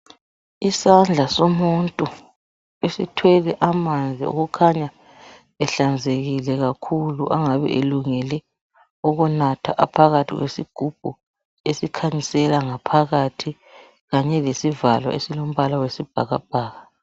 Isandla somuntu esithwele amanzi okukhanya ehlanzekile kakhulu angabe elungele ukunatha aphakathi kwesigubhu esikhanyisela ngaphakathi kanye lesivalo esilombala wesibhakabhaka.